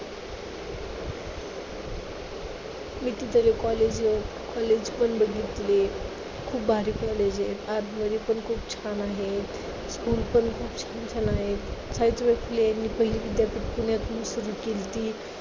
मी तिथं college वर college पण बघितले. खूप भारी college आहे. आतमध्ये पण खूप छान आहे. school पण खूप छान चालू आहेत. सावित्रीबाई फुले विद्यापीठ पुण्यातनं सुरू केलती.